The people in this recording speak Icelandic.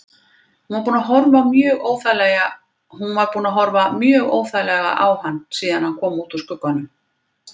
Hún var búin að horfa mjög óþægilega á hann síðan hann kom út úr skugganum.